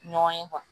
Ɲɔgɔn ye